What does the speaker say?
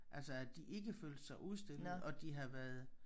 Altså at de ikke følte sig udstillet og de havde været